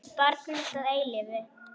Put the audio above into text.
Barn mitt að eilífu.